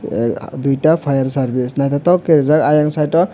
tei duita fireservce nythoktoke ke reejak siang site o.